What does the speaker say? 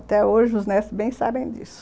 Até hoje, os netos bem sabem disso.